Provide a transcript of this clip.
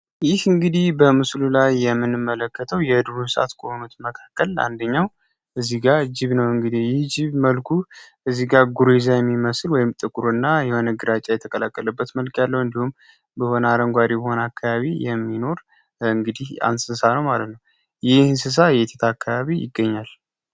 ይህን እንግዲህ በምስሉ ላይ የምንመለከተው የዱር እንስሳት ከሆኑት መካከል አንደኛው እዚጋ ጅብ ነው። እንግዲህ ጅብ እዚጋ ጥቁርና ጉሬዛ የሚመስል ነጭ ተቀላቀለበት መልክ ያለው እንዲሁም ይሆን አረንጓዴ የሆነ አካባቢ የሚኖር እንስሳ ነው ማለት ነው ይህ እንስሳ እየታከባቢ ይገኛል።